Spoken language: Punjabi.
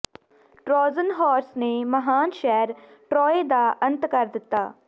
ਟਰੋਜਨ ਹਾਰਸ ਨੇ ਮਹਾਨ ਸ਼ਹਿਰ ਟਰੋਯ ਦਾ ਅੰਤ ਕਰ ਦਿੱਤਾ